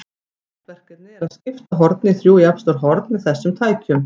Frægt verkefni er að skipta horni í þrjú jafnstór horn með þessum tækjum.